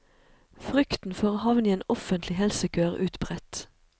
Frykten for å havne i en offentlig helsekø er utbredt.